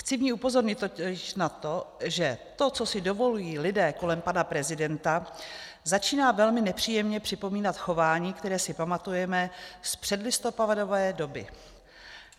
Chci v ní upozornit totiž na to, že to, co si dovolují lidé kolem pana prezidenta, začíná velmi nepříjemně připomínat chování, které si pamatujeme z předlistopadové doby.